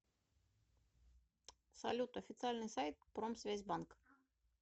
салют официальный сайт промсвязьбанк